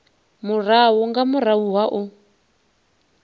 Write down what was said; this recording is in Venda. murahu nga murahu ha u